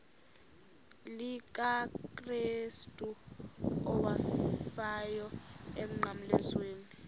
likakrestu owafayo emnqamlezweni